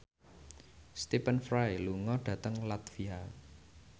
Stephen Fry lunga dhateng latvia